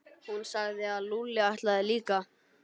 Hún sagði að Lúlli ætlaði líka.